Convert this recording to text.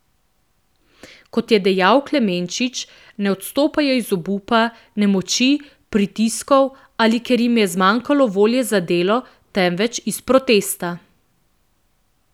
Kot je dejal Klemenčič, ne odstopajo iz obupa, nemoči, pritiskov ali ker jim je zmanjkalo volje za delo, temveč iz protesta.